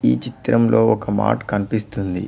ఈ చిత్రంలో ఒక మార్ట్ కనిపిస్తుంది.